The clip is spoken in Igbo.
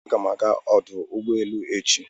Aga m aga ọdụ ụgbọelu echi.